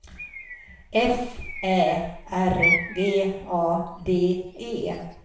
F Ä R G A D E